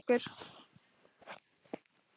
Nonni fór með okkur.